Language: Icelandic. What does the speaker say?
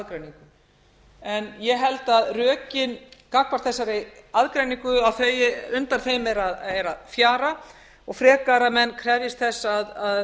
aðgreiningu en ég held að rökin gagnvart þessari aðgreiningu undan þeim er að fjara og frekar að menn krefjist þess að